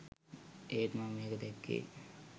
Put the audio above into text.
ඒත් මම මේක දැක්කේ